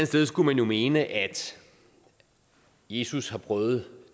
sted skulle man jo mene at jesus har prøvet